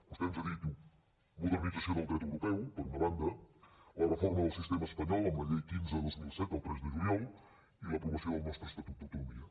vostè ens ha dit modernització del dret europeu per una banda la reforma del sistema espanyol amb la llei quinze dos mil set del tres de juliol i l’aprovació del nostre estatut d’autonomia